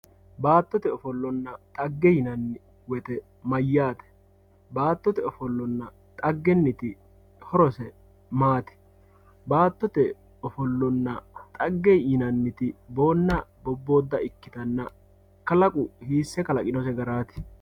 baattote ofollanna xagge yinani woyite mayaate baattote ofollanna xaggeniti horose maati baattote ofollanna xagge yinaniti boonna boboodda ikkitanna kalaqu hiisse kalaqinose garaati